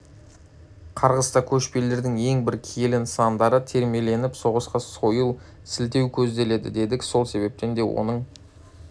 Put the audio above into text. қарғыста көшпелілердің ең бір киелі нысандары термеленіп соған сойыл сілтеу көзделеді дедік сол себептен де оның